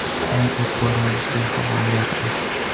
Uni e’tiboringizga havola etamiz.